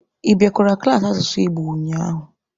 Ị bịakwara klaasị asụsụ Igbo ụnyaahụ?